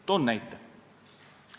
Toon näite.